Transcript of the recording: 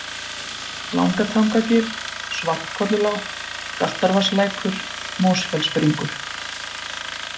Langatangagil, Svartkollulág, Galtarvatnslækur, Mosfellsbringur